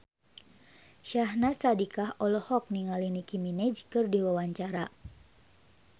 Syahnaz Sadiqah olohok ningali Nicky Minaj keur diwawancara